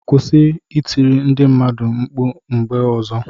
Kûsị I tiri ndi mmadu nkpu mgbe ozo!